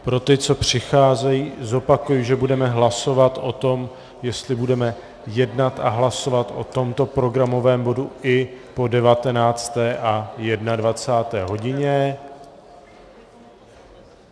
Pro ty, co přicházejí, zopakuji, že budeme hlasovat o tom, jestli budeme jednat a hlasovat o tomto programovém bodu i po 19. a 21. hodině.